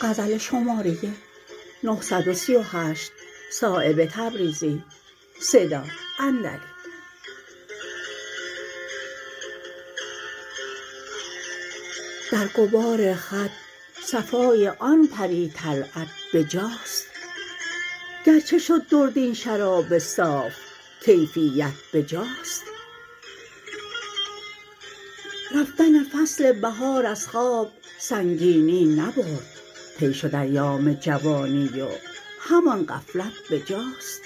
در غبار خط صفای آن پری طلعت بجاست گرچه شد درد این شراب صاف کیفیت بجاست رفتن فصل بهار از خواب سنگینی نبرد طی شد ایام جوانی و همان غفلت بجاست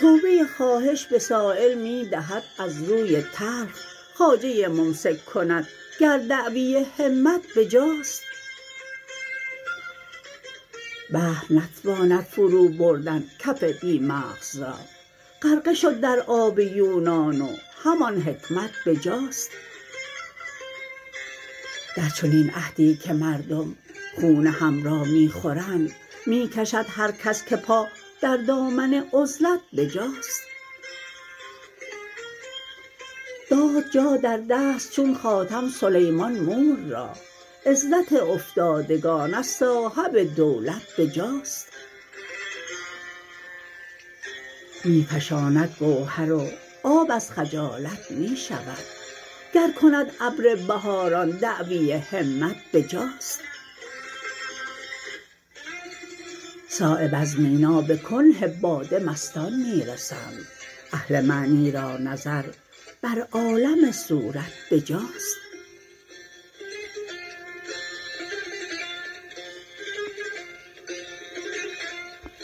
توبه خواهش به سایل می دهد از روی تلخ خواجه ممسک کند گر دعوی همت بجاست بحر نتواند فرو بردن کف بی مغز را غرقه شد در آب یونان و همان حکمت بجاست در چنین عهدی که مردم خون هم را می خورند می کشد هر کس که پا در دامن عزلت بجاست داد جا در دست چون خاتم سلیمان مور را عزت افتادگان از صاحب دولت بجاست می فشاند گوهر و آب از خجالت می شود گر کند ابر بهاران دعوی همت بجاست صایب از مینا به کنه باده مستان می رسند اهل معنی را نظر بر عالم صورت بجاست